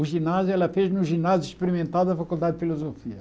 O ginásio ela fez no ginásio experimental da Faculdade de Filosofia.